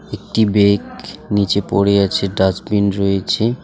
একটি ব্যেগ নীচে পড়ে আছে ডাস্টবিন রয়েছে।